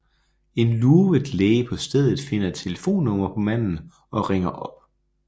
En lurvet læge på stedet finder et telefonnummer på manden og ringer op